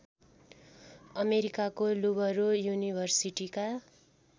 अमेरिकाको लुबरो युनिभर्सिटीका